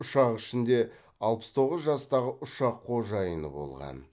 ұшақ ішінде алпыс тоғыз жастағы ұшақ қожайыны болған